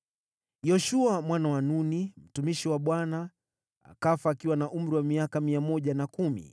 Yoshua mwana wa Nuni, mtumishi wa Bwana , akafa akiwa na umri wa miaka 110.